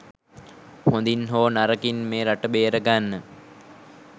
හොඳින් හෝ නරකින් මේ රට බේරගන්න